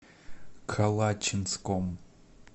калачинском